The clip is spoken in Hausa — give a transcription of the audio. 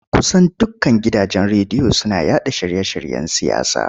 Kusan dukkan gidajen rediyo suna yaɗa shirye-shiryen siyasa.